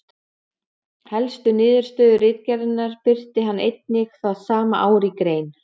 Helstu niðurstöðu ritgerðarinnar birti hann einnig það sama ár í grein.